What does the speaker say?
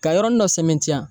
Ka yɔrɔnin dɔ sɛmɛntiya.